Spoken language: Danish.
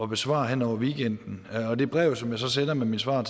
besvare hen over weekenden og det brev som jeg så sender med mit svar